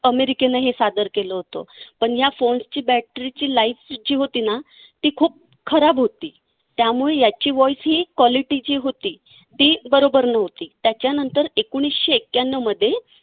अमेरिकेने हे सादर केलं होतं. पण या phones च्या battery ची life जी होती ना ती खूप खराब होती. त्यामुळे याची voice quality जी होती ती बरोबर नव्हती. त्याच्यानंतर एकोणीसशे एक्क्यानऊमध्ये